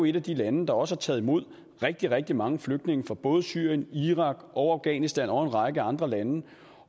et af de lande der også har taget imod rigtig rigtig mange flygtninge fra både syrien irak og afghanistan og en række andre lande